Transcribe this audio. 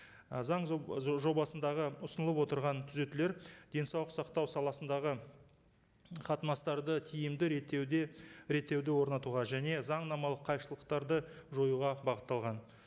і заң жобасындағы ұсынылып отырған түзетулер денсаулық сақтау саласындағы қатынастарды тиімді реттеуде реттеуді орнатуға және заңнамалық қайшылықтарды жоюға бағытталған